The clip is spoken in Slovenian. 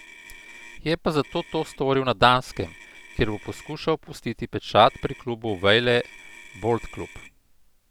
Je pa zato to storil na Danskem, kjer bo poskušal pustiti pečat pri klubu Vejle Boldklub.